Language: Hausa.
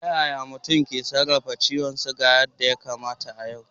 Ta yaya mutum zai sarrafa ciwon sukari yadda ya kamata a yau?